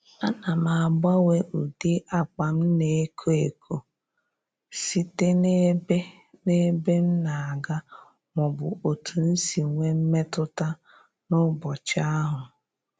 Ana m agbanwe ụdị akpa m na-eko eko site n'ebe n'ebe m na-aga maọbụ otu si nwe mmetụta n'ụbọchị ahụ